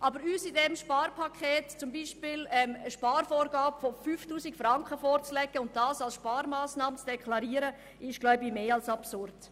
Aber unsereins eine Sparvorgabe von 5000 Franken vorzulegen und dies als Sparmassnahme zu deklarieren, ist, glaube ich, mehr als absurd.